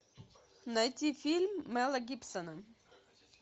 найти фильм мела гибсона